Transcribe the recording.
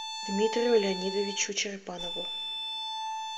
дмитрию леонидовичу черепанову